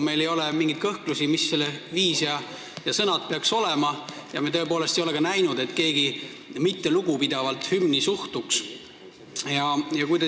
Meil ei ole mingeid kõhklusi, millised peaksid olema selle viis ja sõnad, ja me tõepoolest ei ole ka näinud, et keegi suhtuks hümni mittelugupidavalt.